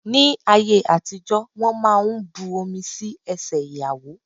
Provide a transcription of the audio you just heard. Ní ayé àtijó, wón máa ń bu omi sí ẹsẹ ìyàwó.